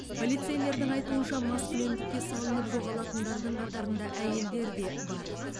полицейлердің айтуынша маскүнемдікке салынып жоғалатындардың қатарында әйелдер де бар